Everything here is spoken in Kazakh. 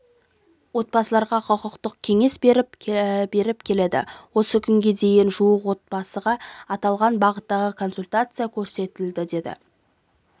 отбасыларға құқықтық кеңес беріп келеді осы күнге дейін жуық отбасыға аталған бағыттағы консультация көрсетілді деді